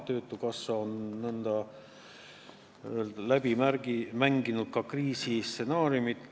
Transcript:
Töötukassa on n-ö läbi mänginud ka kriisistsenaariumid.